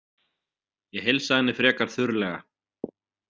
Ég heilsaði henni frekar þurrlega.